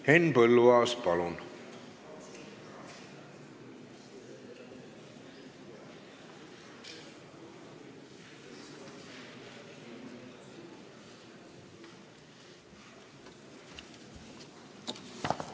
Henn Põlluaas, palun!